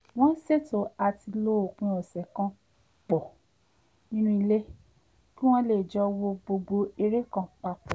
wọ́n ṣètò àti lo òpin ọ̀sẹ̀ kan pọ̀ nínú ilé kí wọ́n lè j́ọ wo gbogbo eré kan pa pọ̀